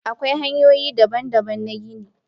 Akwai hanyoyi daban-daban na gini.